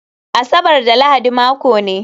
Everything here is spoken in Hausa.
Asabar da Lahadi mako ne